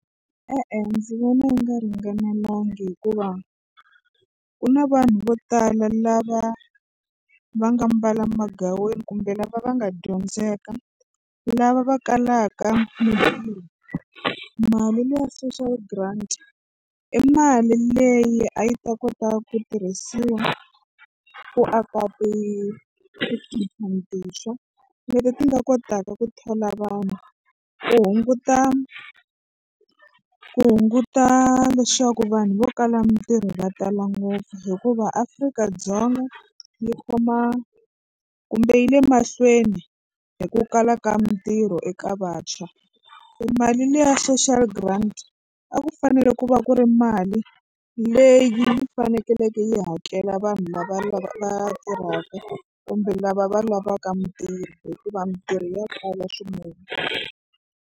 E-e ndzi vona yi nga ringanelangi hikuva ku na vanhu vo tala lava va nga mbala magaweni kumbe lava va nga dyondzeka lava va kalaka mitirho mali leya social grant i mali leyi a yi ta kota ku tirhisiwa ku aka ti tikhampani tintshwa leti ti nga kotaka ku thola vanhu ku hunguta ku hunguta leswaku vanhu vo kala mitirho va tala ngopfu hikuva Afrika-Dzonga yi khoma kumbe yi le mahlweni hi ku kala ka mitirho eka vantshwa se mali leya social grant a ku fanele ku va ku ri mali leyi faneleke yi hakela vanhu lava va tirhaka kumbe lava va lavaka mitirho hikuva mitirho ya kala swinene.